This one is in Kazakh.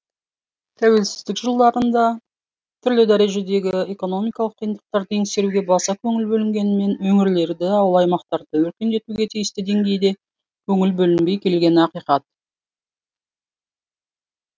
тәуелсіздік жылдарында түрлі дәрежедегі экономикалық қиындықтарды еңсеруге баса көңіл бөлінгенмен өңірлерді ауыл аймақтарды өркендетуге тиісті деңгейде көңіл бөлінбей келгені ақиқат